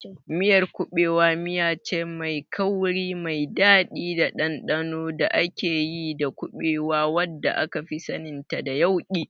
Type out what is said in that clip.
Miyar kuɓewa miyace mai kauri, mai daɗi da ɗanɗano da ake yi da kuɓewa, wadda akafi saninta da yauƙi.